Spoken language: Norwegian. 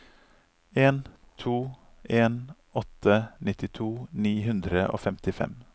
en to en åtte nittito ni hundre og femtifem